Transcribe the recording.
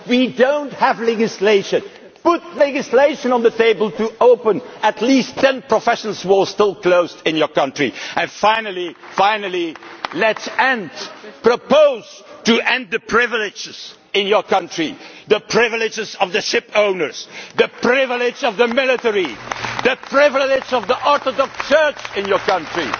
people. We do not have legislation. Put legislation on the table to open at least 10 professions which are still closed in your country. Finally, let us propose ending the privileges in your country the privileges of the ship owners, the privilege of the military, the privilege of the Orthodox Church in your